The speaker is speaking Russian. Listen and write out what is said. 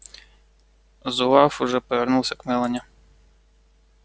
зуав уже повернулся к мелани